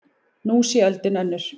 Nú sé öldin önnur.